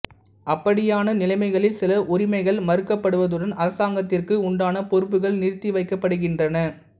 அப்படியான நிலைமைகளில் சில உரிமைகள் மறுக்கப்படுவதுடன் அரசாங்கத்திற்கு உண்டான பொறுப்புக்கள் நிறுத்தி வைக்கப்படுகின்றன